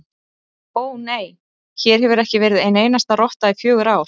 Ó, nei, hér hefur ekki verið ein einasta rotta í fjögur ár